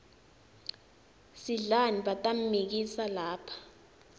sidlani batammikisa lapha